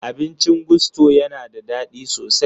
Abincin Gusto ya na da daɗi sosai.